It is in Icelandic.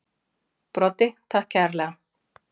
Broddi: Takk kærlega.